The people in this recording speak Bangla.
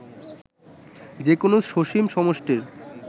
যে কোন সসীম সমষ্টির